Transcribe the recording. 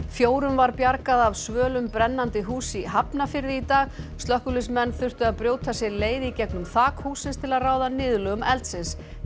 fjórum var bjargað af svölum brennandi húss í Hafnarfirði í dag slökkviliðsmenn þurftu að brjóta sér leið í gegnum þak hússins til að ráða niðurlögum eldsins